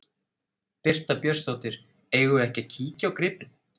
Birta Björnsdóttir: Eigum við ekki að kíkja á gripinn?